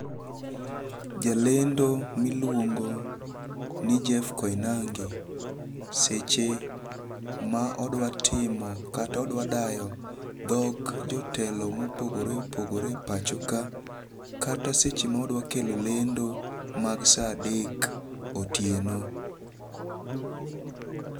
Jalendo miluongo ni Jeff Koinange seche ma odwa timo kata odwa dayo dho jotelo mopogore opogoree pacho ka kata seche ma odwa kelo lendo mag sa adek otieno.